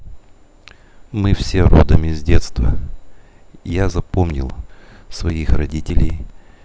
мы все родом из детства я запомнил своих родителей